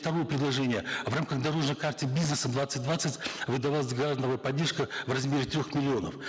второе предложение в рамках дорожной карты бизнеса двадцать двадцать выдавалась грантовая поддержка в размере трех миллионов